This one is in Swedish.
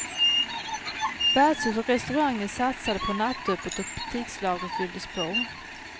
Värdshus och restauranger satsade på nattöppet och butikslagren fylldes på.